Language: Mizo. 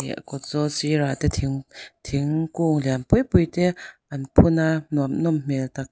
leh kawt zawl sirah te thing thingkung lian pui pui te an phun a nuam nawm hmel tak tak--